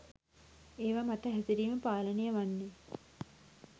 ඒවා මත හැසිරීම පාලනය වන්නෙ